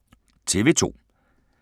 TV 2